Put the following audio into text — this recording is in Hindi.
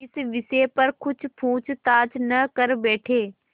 इस विषय पर कुछ पूछताछ न कर बैठें